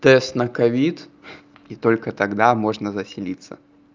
тест на ковид и только тогда можно заселиться